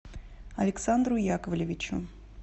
александру яковлевичу